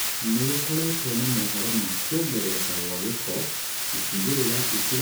nĩgũkoretwo na mohoro ma kũongerereka gwa gĩko, ĩcĩgĩrĩra itiganĩte ĩmwe wa cĩo arĩ mũciĩ mũnene wa Nairobi